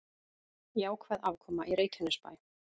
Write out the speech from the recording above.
Jákvæð afkoma í Reykjanesbæ